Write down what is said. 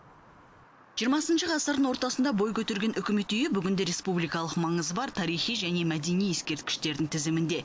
жиырмасыншы ғасырдың ортасында бой көтерген үкімет үйі бүгінде республикалық маңызы бар тарихи және мәдени ескерткіштердің тізімінде